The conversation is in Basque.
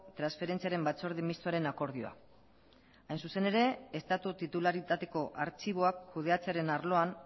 transferentziaren batzorde mistoaren akordioa hain zuzen ere estatu titularitateko artxiboak kudeatzearen arloan